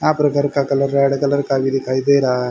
आप्र घर का colour red colour का भी दिखाई दे रहा है।